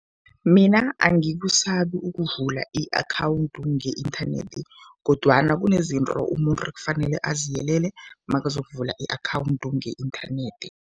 Mina angikusabi ukuvula i-akhawundi nge-inthanethi kodwana kunezinto umuntu ekufanele aziyelele makazokuvula i-akhawundi nge-inthanethi.